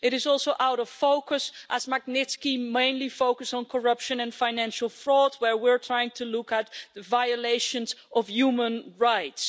It is also out of focus as Magnitsky mainly focuses on corruption and financial fraud, whereas we're trying to look at violations of human rights.